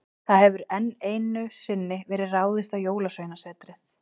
Það hefur enn einu sinni verið ráðist á Jólasveinasetrið.